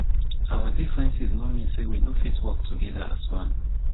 our differences no mean sey we no fit work togeda as one.